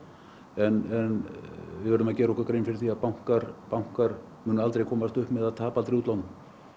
en við verðum að gera okkur grein fyrir því að bankar bankar munu aldrei komast upp með að tapa aldrei á útlánum